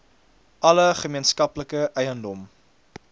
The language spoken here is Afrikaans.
alle gemeenskaplike eiendom